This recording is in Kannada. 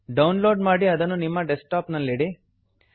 ಡೌನ್ ಲೋಡ್ ಮಾಡಿ ಅದನ್ನು ನಿಮ್ಮ ಡೆಸ್ಕ್ಟಾಪ್ ನಲ್ಲಿಡಿ